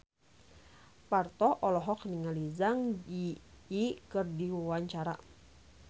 Parto olohok ningali Zang Zi Yi keur diwawancara